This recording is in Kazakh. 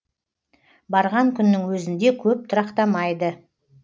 барған күннің өзінде көп тұрақтамайды